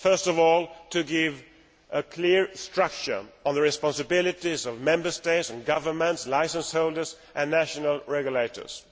First of all to give a clear structure on the responsibilities of Member States and governments, licence holders and national regulators.